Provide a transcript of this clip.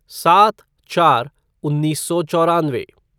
सात चार उन्नीस सौ चौरानवे